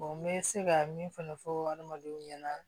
n bɛ se ka min fana fɔ adamadenw ɲɛna